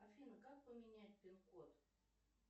афина как поменять пин код